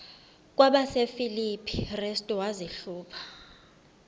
kwabasefilipi restu wazihluba